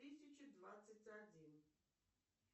тысячу двадцать один